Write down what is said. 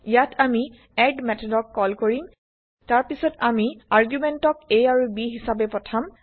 ইয়াত আমি এড methodক কল কৰিম তাৰ পিছত আমি আৰ্গুমেন্টক160a আৰু b হিচাবে পঠাম160